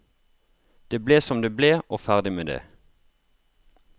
Det ble som det ble og ferdig med det.